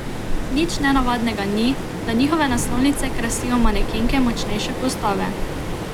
Nič nenavadnega ni, da njihove naslovnice krasijo manekenke močnejše postave.